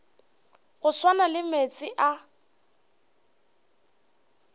go swana le meetse a